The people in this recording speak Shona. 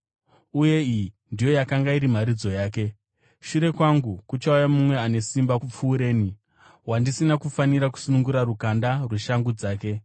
Uye iyi ndiyo yakanga iri mharidzo yake: “Shure kwangu kuchauya mumwe ane simba kupfuureni wandisina kufanira kusunungura rukanda rweshangu dzake.